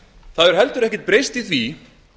það hefur heldur ekkert breyst í því